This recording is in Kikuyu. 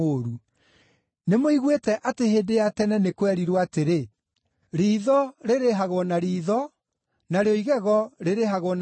“Nĩmũiguĩte atĩ hĩndĩ ya tene nĩ kwerirwo atĩrĩ: ‘Riitho rĩrĩhagwo na riitho, narĩo igego rĩrĩhagwo na igego.’